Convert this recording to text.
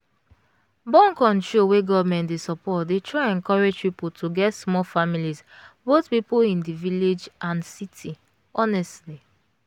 born-control wey government dey support dey try encourage people to get small families both people in the village and city honestly